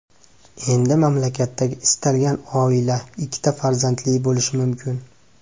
Endi mamlakatdagi istalgan oila ikkita farzandli bo‘lishi mumkin.